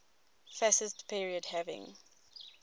fascist period having